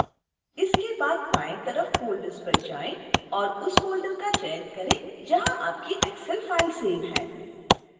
इसके बाद बाएं तरफ फ़ोल्डर्स पर जाएं और उस फ़ोल्डर का चयन करें जहां आपकी excel file सेव है